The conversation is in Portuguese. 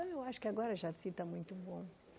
Então eu acho que agora Jaci está muito bom.